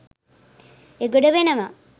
එගොඩ වෙනවා